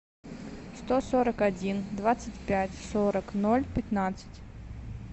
сто сорок один двадцать пять сорок ноль пятнадцать